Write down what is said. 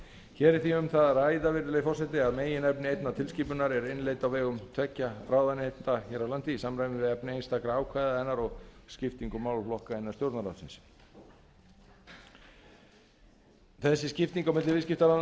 hér er því um það að ræða virðulegi forseti að meginefni einnar tilskipunar er innleidd á vegum tveggja ráðuneyta hér á landi í samræmi við efni einstakra ákvæða hennar og skiptingu málaflokka innan stjórnarráðs íslands þessi skipting á milli